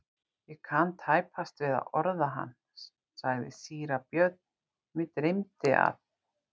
Ég kann tæpast við að orða hann, sagði síra Björn,-mig dreymdi að.